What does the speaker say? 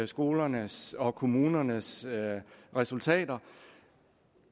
skolernes og kommunernes resultater